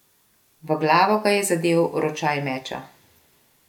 V glavo ga je zadel ročaj meča.